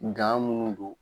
minnu don